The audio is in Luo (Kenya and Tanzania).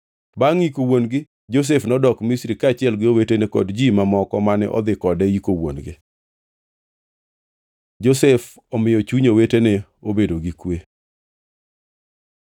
Bangʼ yiko wuon-gi, Josef nodok Misri kaachiel gi owetene kod ji mamoko mane odhi kode yiko wuon-gi. Josef omiyo chuny owetene obedo gi kwe